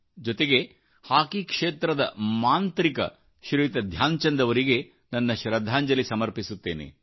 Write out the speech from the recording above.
ಜೊತೆಗೆ ಹಾಕೀ ಕ್ಷೇತ್ರದ ಮಾಂತ್ರಕ ಶ್ರೀಯುತ ಧ್ಯಾನ್ಚಂದ್ ಅವರಿಗೆ ನನ್ನ ಶ್ರದ್ಧಾಂಜಲಿ ಸಮರ್ಪಿಸುತ್ತೇನೆ